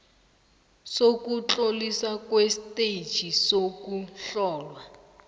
sokutloliswa kwestetjhi sokuhlolwa